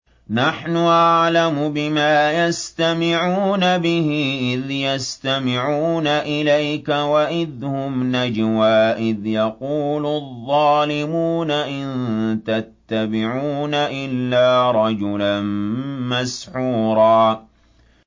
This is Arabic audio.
نَّحْنُ أَعْلَمُ بِمَا يَسْتَمِعُونَ بِهِ إِذْ يَسْتَمِعُونَ إِلَيْكَ وَإِذْ هُمْ نَجْوَىٰ إِذْ يَقُولُ الظَّالِمُونَ إِن تَتَّبِعُونَ إِلَّا رَجُلًا مَّسْحُورًا